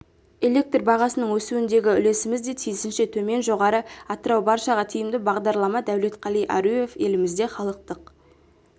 электр бағасының өсуіндегі үлесіміз де тиісінше төмен жоғары атырау баршаға тиімді бағдарлама дәулетқали аруев елімізде халықтық